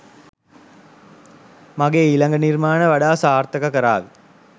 මගෙ ඊළඟ නිර්මාණ වඩා සාර්ථක කරාවි.